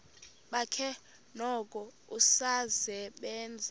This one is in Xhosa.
bakhe noko usasebenza